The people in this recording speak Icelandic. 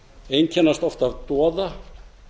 einkennast oft af doða